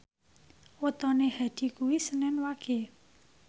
wetone Hadi kuwi senen Wage